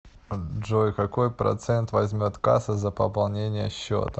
джой какой процент возьмет касса за пополнение счета